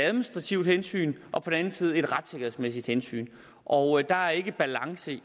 administrativt hensyn og et på den anden side retssikkerhedsmæssigt hensyn og der er ikke balance